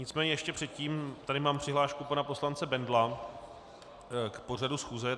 Nicméně ještě předtím tady mám přihlášku pana poslance Bendla k pořadu schůze.